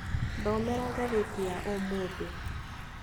Thomera ngathĩti ya ũmũthĩ